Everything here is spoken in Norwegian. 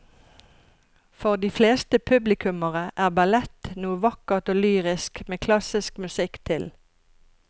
For de fleste publikummere er ballett noe vakkert og lyrisk med klassisk musikk til.